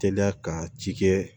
Te da ka ci kɛ